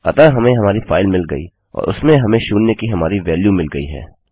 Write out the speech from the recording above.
अतः हमें हमारी फाइल मिल गयी और उसमें हमें शून्य की हमारी वेल्यू मिल गयी है